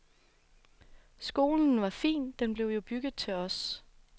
Skolen var fin, den blev jo bygget til os.